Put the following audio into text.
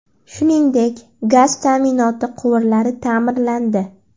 Shuningdek, gaz ta’minoti quvurlari ta’mirlandi.